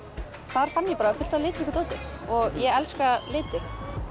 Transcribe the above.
þar fann ég bara fullt af litríku dóti og ég elska liti